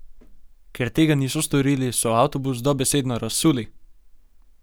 Ker tega niso storili, so avtobus dobesedno razsuli.